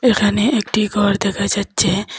এখানে একটি ঘর দেখা যাচ্ছে।